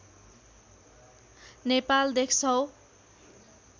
नेपाल देख्छौ